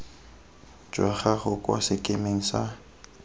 jwa gago kwa sekemeng sa